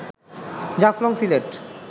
Jaflong Sylhet